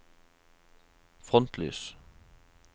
frontlys